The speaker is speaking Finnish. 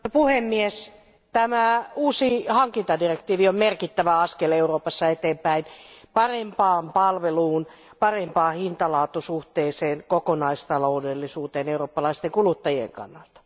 Arvoisa puhemies, tämä uusi hankintadirektiivi on merkittävä askel eteenpäin Euroopassa parempaan palveluun, parempaan hintalaatusuhteeseen ja kokonaistaloudellisuuteen eurooppalaisten kuluttajien kannalta.